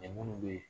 munnu be yen